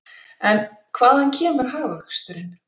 En hvaðan kemur hagvöxturinn?